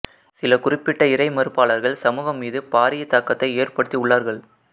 சில குறிப்பிட்ட இறைமறுப்பாளர்கள் சமூகம் மீது பாரிய தாக்கத்தை ஏற்படுத்தி உள்ளார்கள்